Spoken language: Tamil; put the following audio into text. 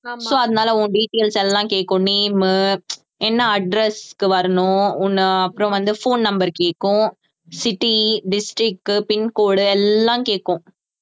so அதனால உன் details எல்லாம் கேக்கும் name உ என்ன address க்கு வரணும் உன்னை அப்புறம் வந்து phone number கேக்கும் city, district, pincode எல்லாம் கேக்கும்